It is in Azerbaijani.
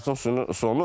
Sitatın sonu.